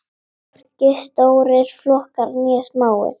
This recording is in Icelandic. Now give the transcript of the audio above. Hvorki stórir flokkar né smáir.